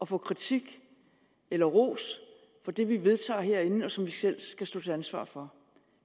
få kritik eller ros for det vi vedtager herinde og som vi selv skal stå til ansvar for